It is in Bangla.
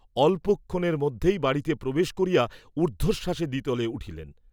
অল্পক্ষণের মধ্যেই বাড়ীতে প্রবেশ করিয়া ঊর্দ্ধশ্বাসে দ্বিতলে উঠিলেন।